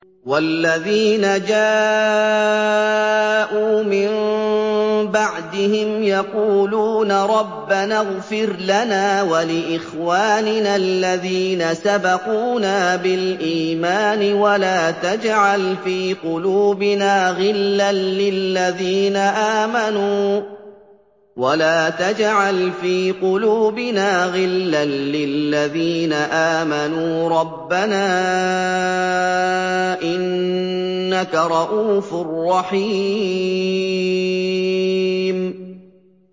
وَالَّذِينَ جَاءُوا مِن بَعْدِهِمْ يَقُولُونَ رَبَّنَا اغْفِرْ لَنَا وَلِإِخْوَانِنَا الَّذِينَ سَبَقُونَا بِالْإِيمَانِ وَلَا تَجْعَلْ فِي قُلُوبِنَا غِلًّا لِّلَّذِينَ آمَنُوا رَبَّنَا إِنَّكَ رَءُوفٌ رَّحِيمٌ